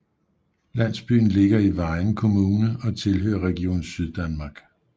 Landsbyen ligger i Vejen Kommune og tilhører Region Syddanmark